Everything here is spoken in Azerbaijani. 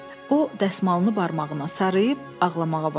O dəsmalını barmağına sarıyıb ağlamağa başladı.